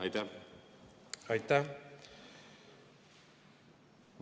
Aitäh!